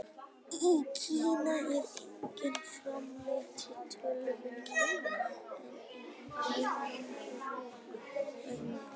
Í Kína er einnig framleitt töluvert magn, en minna á Indlandi og í Víetnam.